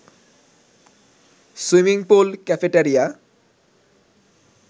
swimming pool, cafeteria